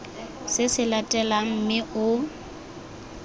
se se latelang mme o